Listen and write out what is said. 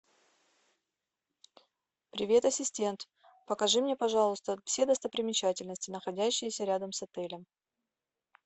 привет ассистент покажи мне пожалуйста все достопримечательности находящиеся рядом с отелем